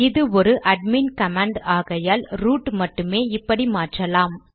இது ஒரு admin command ஆகையால் ரூட் மட்டுமே இப்படி மாற்றலாம்